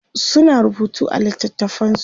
suna rubutu a littatafansu